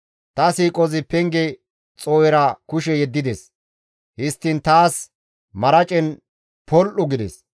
Ta siiqozi penge xoo7era kushe yeddides; histtiin taas maracen pol7u gides.